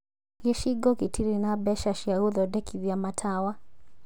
Gĩcigo gĩtirĩ na mbeca cia gũthondekithia matawa